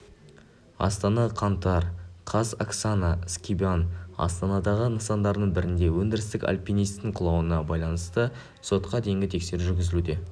астана қаңтар қаз оксана скибан астанадағы нысандарының бірінде өндірістік альпинистің құлауына баланысты сотқа дейінгі тексеру жүргізілуде